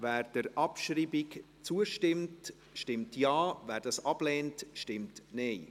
Wer der Abschreibung zustimmt, stimmt Ja, wer dies ablehnt, stimmt Nein.